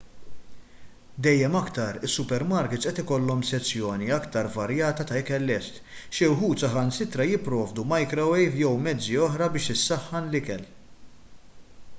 dejjem aktar is-supermarkits qed ikollhom sezzjoni aktar varjata ta' ikel lest xi wħud saħansitra jipprovdu majkrowejv jew mezzi oħra biex isaħħan l-ikel